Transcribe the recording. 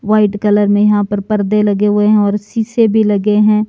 White colour में यहां पर पर्दे लगे हुए हैं और शीशे भी लगे हैं।